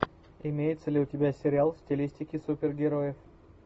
имеется ли у тебя сериал в стилистике супергероев